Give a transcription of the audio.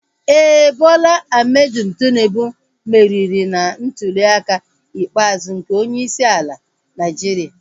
Éè, Bola Ahmed Tinubu meriri na ntuliaka ikpeazụ nke onyeisi ala Naịjiria